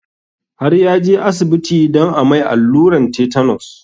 Har ya je asibiti don a mai alluran tetanus